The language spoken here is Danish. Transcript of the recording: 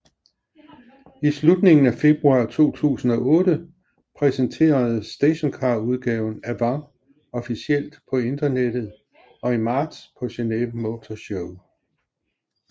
I slutningen af februar 2008 præsenteredes stationcarudgaven Avant officielt på internettet og i marts på Geneve Motor Show